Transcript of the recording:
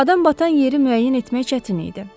Adam batan yeri müəyyən etmək çətin idi.